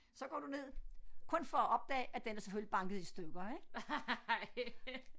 Så går du ned kun for at opdage at den er selvfølgelig banket i stykker ik